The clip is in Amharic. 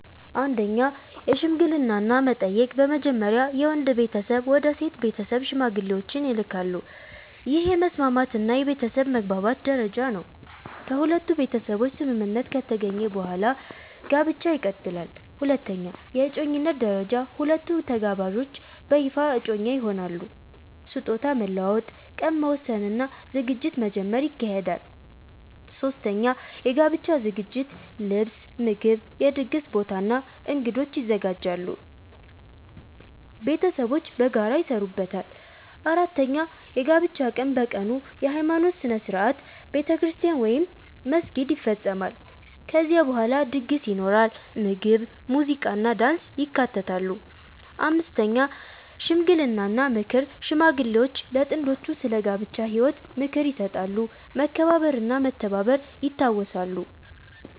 1) የሽምግልና እና መጠየቅ በመጀመሪያ የወንድ ቤተሰብ ወደ ሴት ቤተሰብ ሽማግሌዎችን ይልካሉ። ይህ የመስማማት እና የቤተሰብ መግባባት ደረጃ ነው። ከሁለቱ ቤተሰቦች ስምምነት ከተገኘ በኋላ ጋብቻ ይቀጥላል። 2) የእጮኝነት ደረጃ ሁለቱ ተጋባዦች በይፋ እጮኛ ይሆናሉ። ስጦታ መለዋወጥ፣ ቀን መወሰን እና ዝግጅት መጀመር ይካሄዳል። 3) የጋብቻ ዝግጅት ልብስ፣ ምግብ፣ የድግስ ቦታ እና እንግዶች ይዘጋጃሉ። ቤተሰቦች በጋራ ይሰሩበታል። 4) የጋብቻ ቀን በቀኑ የሃይማኖት ሥነ ሥርዓት (ቤተክርስቲያን ወይም መስጊድ) ይፈጸማል። ከዚያ በኋላ ድግስ ይኖራል፣ ምግብ፣ ሙዚቃ እና ዳንስ ይካተታሉ። 5) ሽምግልና እና ምክር ሽማግሌዎች ለጥንዶቹ ስለ ጋብቻ ህይወት ምክር ይሰጣሉ፣ መከባበር እና መተባበር ይታወሳሉ።